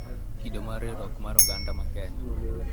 Kido mar riwruok mar oganda ma Kenya